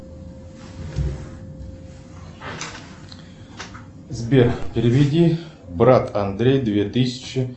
сбер переведи брат андрей две тысячи